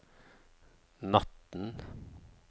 natten